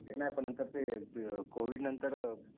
ते नाही पण नंतर ते कोविडनंतर